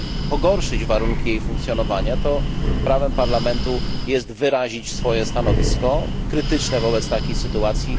pogorszyć warunki jej funkcjonowania, to prawem Parlamentu jest wyrazić swoje stanowisko, krytyczne wobec takiej sytuacji.